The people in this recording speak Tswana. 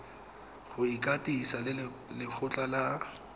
go ikwadisa le lekgotlha la